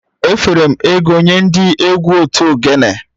Efere m ego nye ndị egwu otu ogene